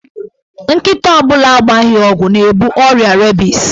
Nkịta ọ bụla agbaghị ọgwụ na-ebu ọrịa rebis.